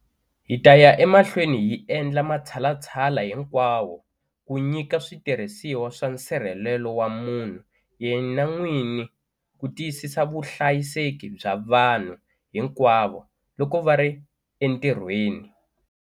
Hi ta ya emahlweni hi endla matshalatshala hinkwawo ku nyika switirhisiwa swa nsirhelelo wa munhu yena n'wini ku tiyisisa vuhlayiseki bya vanhu hinkwavo loko va ri entirhweni.